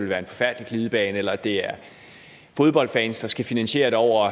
være en forfærdelig glidebane eller at det er fodboldfans der skal finansiere det over